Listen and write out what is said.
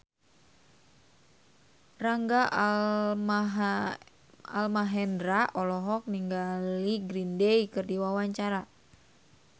Rangga Almahendra olohok ningali Green Day keur diwawancara